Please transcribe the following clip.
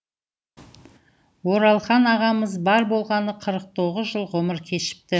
оралхан ағамыз бар болғаны қырық тоғыз жыл ғұмыр кешіпті